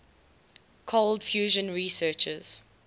cold fusion researchers